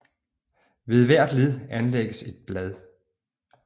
Ved hvert led anlægges et blad